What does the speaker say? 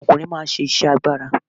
Àwọn ọkùnrin máa ń ṣe iṣẹ́ agbára.